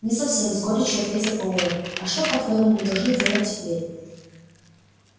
не совсем с горечью ответил пауэлл а что по-твоему мы должны делать теперь